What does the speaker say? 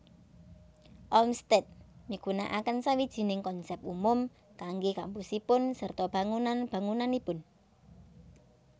Olmsted migunakaken sawijining konsèp umum kanggé kampusipun sarta bangunan bangunanipun